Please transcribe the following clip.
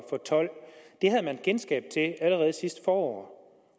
tolv det havde man kendskab til allerede sidste forår